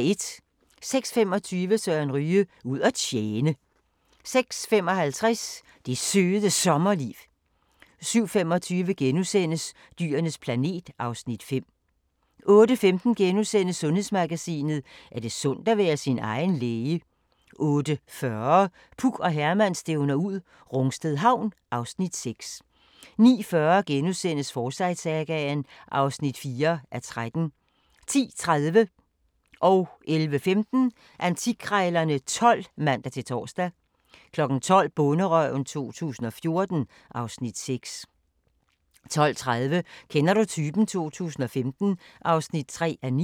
06:25: Søren Ryge: Ud at tjene 06:55: Det Søde Sommerliv 07:25: Dyrenes planet (Afs. 5)* 08:15: Sundhedsmagasinet: Er det sundt at være sin egen læge? * 08:40: Puk og Herman stævner ud - Rungsted Havn (Afs. 6) 09:40: Forsyte-sagaen (4:13)* 10:30: Antikkrejlerne XII (man-tor) 11:15: Antikkrejlerne XII (man-tor) 12:00: Bonderøven 2014 (Afs. 6) 12:30: Kender du typen? 2015 (3:9)